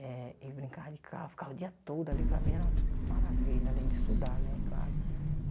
eh e brincava de carro, ficava o dia todo ali, para mim era uma maravilha, além de estudar, né, claro.